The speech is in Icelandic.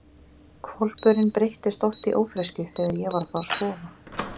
Hvolpurinn breyttist oft í ófreskju þegar ég var að fara að sofa.